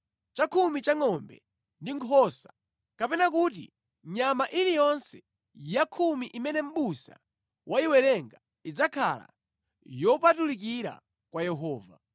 Chakhumi cha ngʼombe ndi nkhosa, kapena kuti nyama iliyonse ya khumi imene mʼbusa wayiwerenga idzakhala yopatulikira kwa Yehova.